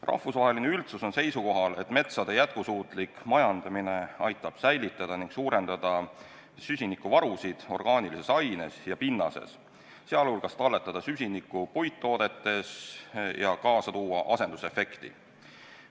Rahvusvaheline üldsus on seisukohal, et metsade jätkusuutlik majandamine aitab säilitada ning suurendada süsinikuvarusid orgaanilises aines ja pinnases, sh talletada süsinikku puittoodetes ja kaasa tuua asendusefekti.